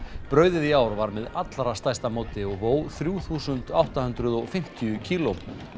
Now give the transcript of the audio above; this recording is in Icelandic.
brauðið í ár var með allra stærsta móti og vó þrjú þúsund átta hundruð og fimmtíu kíló